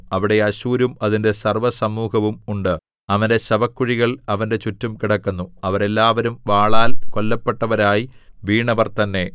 അവിടെ അശ്ശൂരും അതിന്റെ സർവ്വസമൂഹവും ഉണ്ട് അവന്റെ ശവക്കുഴികൾ അവന്റെ ചുറ്റും കിടക്കുന്നു അവരെല്ലാവരും വാളാൽ കൊല്ലപ്പെട്ടവരായി വീണവർ തന്നെ